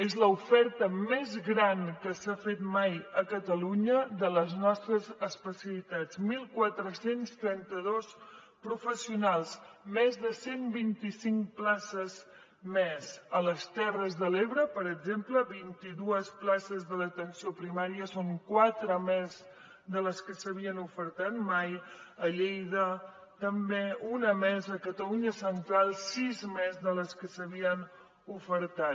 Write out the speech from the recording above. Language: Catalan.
és l’oferta més gran que s’ha fet mai a catalunya de les nostres especialitats catorze trenta dos professionals més de cent i vint cinc places més a les terres de l’ebre per exemple vint dos places de l’atenció primària són quatre quatre més de les que s’havien ofertat mai a lleida també un més a catalunya central sis més de les que s’havien ofertat